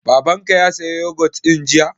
Baban ka ya saya yogut ɗin jiya?